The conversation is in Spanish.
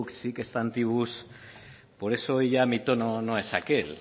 rebus sic stantibus por eso hoy ya mi tono no es aquel